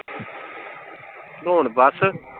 ਹੁਣ ਬੱਸ।